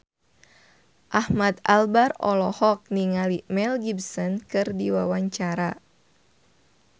Ahmad Albar olohok ningali Mel Gibson keur diwawancara